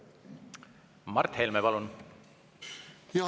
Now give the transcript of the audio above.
Mart Helme, palun!